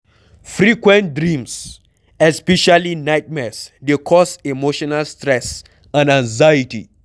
Frequent dreams especially nightmares dey cause emotional stress and anxiety